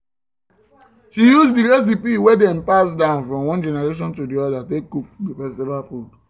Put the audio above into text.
she use the recipe wey dem pass down from one generation to the other take cook the festival food